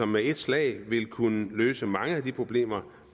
med et slag vil kunne løse mange af de problemer